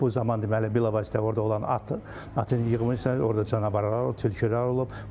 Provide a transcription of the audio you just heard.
İndi bu zaman deməli bilavasitə orda olan atın atın yığılıbsa, orda canavarlar, tülkülər olub.